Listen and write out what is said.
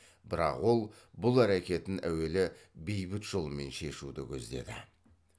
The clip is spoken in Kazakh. бірақ ол бұл әрекетін әуелі бейбіт жолмен шешуді көздеді